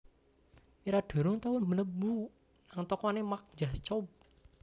Mira durung tau mlebu nang tokone Marc Jacobs